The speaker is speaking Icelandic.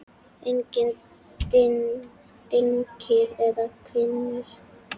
Engir dynkir eða hvinur.